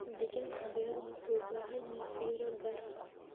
Deegaanka beeruhu wuxuu u baahan yahay fiiro gaar ah.